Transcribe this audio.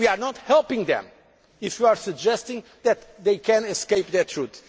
moment. We are not helping them if we are suggesting that they can escape that